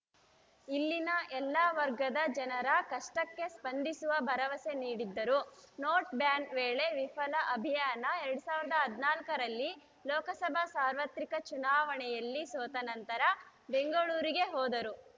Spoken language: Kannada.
ಇಲ್ಲಿನ ಎಲ್ಲಾ ವರ್ಗದ ಜನರ ಕಷ್ಟಕ್ಕೆ ಸ್ಪಂದಿಸುವ ಭರವಸೆ ನೀಡಿದ್ದರು ನೋಟ್‌ ಬ್ಯಾನ್‌ ವೇಳೆ ವಿಫಲ ಅಭಿಯಾನ ಎರಡ್ ಸಾವಿರದ ಹದಿನಾಲ್ಕರಲ್ಲಿ ಲೋಕಸಭಾ ಸಾರ್ವತ್ರಿಕ ಚುನಾವಣೆಯಲ್ಲಿ ಸೋತ ನಂತರ ಬೆಂಗಳೂರಿಗೆ ಹೋದರು